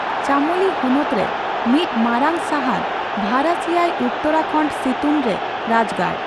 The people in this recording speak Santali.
ᱪᱟᱢᱳᱞᱤ ᱦᱚᱱᱚᱛ ᱨᱮ ᱢᱤᱫᱢᱟᱨᱟᱝ ᱥᱟᱦᱟᱨ ᱵᱷᱟᱨᱟᱥᱤᱭᱟᱭ ᱩᱛᱚᱨᱟᱠᱷᱚᱸᱰ ᱥᱤᱛᱩᱱ ᱨᱮ ᱨᱟᱡᱽᱜᱟᱲ ᱾